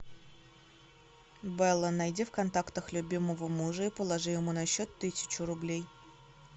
бэлла найди в контактах любимого мужа и положи ему на счет тысячу рублей